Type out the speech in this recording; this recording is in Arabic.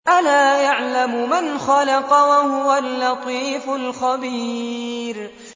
أَلَا يَعْلَمُ مَنْ خَلَقَ وَهُوَ اللَّطِيفُ الْخَبِيرُ